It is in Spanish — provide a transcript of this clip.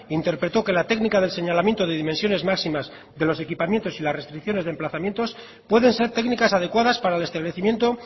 interpretó que la técnica del señalamiento de dimensiones máximas de los equipamientos y las restricciones de emplazamientos pueden ser técnicas adecuadas para el establecimiento